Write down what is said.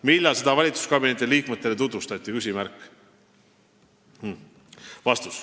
Millal seda valitsuskabineti liikmetele tutvustati?